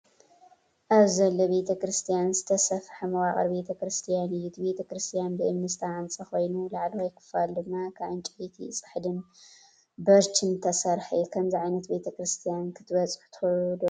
ኣብዚ ዘሎ ቤተ ክርስቲያን ዝተሰፍሐ መዋቕር ቤተ ክርስቲያን እዩ። እቲ ቤተክርስትያን ብእምኒ ዝተሃንጸ ኮይኑ፡ ላዕለዋይ ክፋሉ ድማ ካብ ዕንጨይቲ ጽሕድን በርችን ዝተሰርሐ እዩ። ከምዚ ዓይነት ቤተ ክርስቲያን ክትበጽሑ ትደልዩ ዶ?